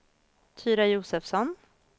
Tyra Josefsson